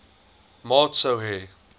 maat sou hê